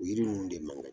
O yiri ninnu de man ɲi